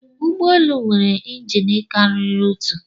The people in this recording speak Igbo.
Ụgbọ elu nwere injin karịrị otu